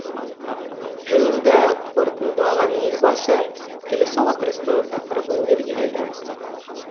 жиынды қорытындылаған елбасы келесі отырыстың тақырыбын белгіледі